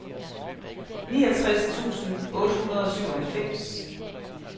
niogtres tusind otte hundrede og syvoghalvfems